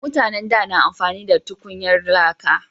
Mutanen da na amfani da tukunyar laka